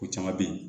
Ko caman be ye